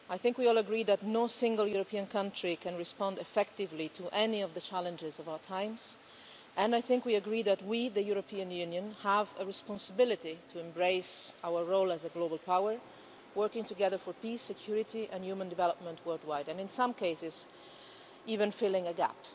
We all agree that no single European country can respond effectively to any of the challenges of our times and that we, the European Union, have a responsibility to embrace our role as a global power, working together for peace, security and human development worldwide, and in some cases even filling a gap.